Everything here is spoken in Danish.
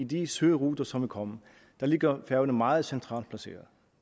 de søruter som vil komme ligger færøerne meget centralt placeret